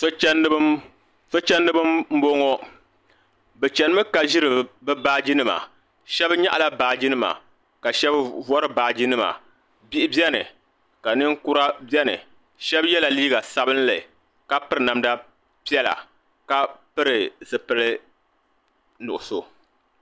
So'chandiba m-bɔŋɔ bɛ chanimi ka ʒiri bɛ baajinima shɛba nyaɣila baajinima ka shɛba vari baajinima bihi beni ka ninkura beni shɛba yela liiga sabinli ka piri namda piɛla ka pili zipili nuɣuso.